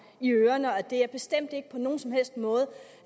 i ørerne og at det bestemt ikke på nogen som helst måde